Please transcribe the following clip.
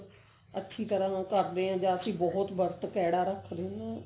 ਅੱਛੀ ਤਰ੍ਹਾਂ ਨਾਲ ਕਰਦੇ ਆਂ ਜਾਂ ਅਸੀਂ ਬਹੁਤ ਵਰਤ ਕੈੜਾ ਰੱਖਦੇ ਆਂ